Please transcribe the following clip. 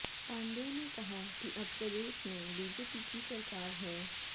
पांडेय ने कहा कि अब प्रदेश में बीजेपी की सरकार है